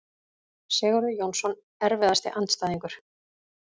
Sigurður Jónsson Erfiðasti andstæðingur?